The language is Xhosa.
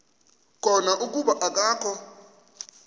khona kuba akakho